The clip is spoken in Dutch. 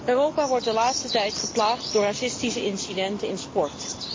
Europa wordt de laatste tijd geplaagd door racistische incidenten in sport.